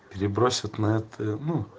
перебросить на это ну